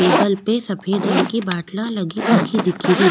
Table पे सफ़ेद रंग की बाटला लगी रखी दिखे री।